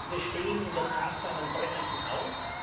Wir stehen in der Tat vor einem brennenden Haus.